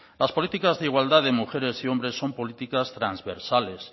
las políticas de igualdad de mujeres y hombres son políticas transversales